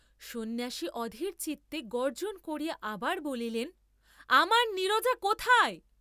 সন্ন্যাসী অধীরচিত্তে গর্জ্জন করিয়া আবার বলিলেন আমার নীরজা কোথায়?